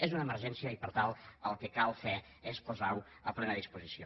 és una emergència i per tant el que cal fer és posar ho a plena disposició